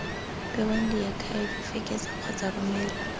bewang diakhaefe fekesa kgotsa romela